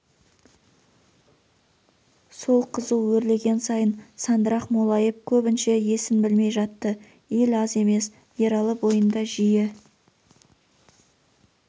сол қызу өрлеген сайын сандырақ молайып көбінше есін білмей жатты ел аз емес ералы бойында жиі